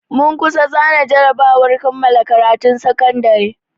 Mun kusa zana jarabawar kammala karatun sakandare.